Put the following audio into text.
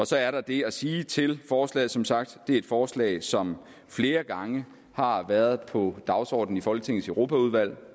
så er der det at sige til forslaget som sagt er et forslag som flere gange har været på dagsordenen i folketingets europaudvalg